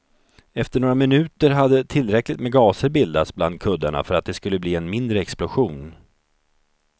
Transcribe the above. Efter några minuter hade tillräckligt med gaser bildats bland kuddarna för att det skulle bli en mindre explosion.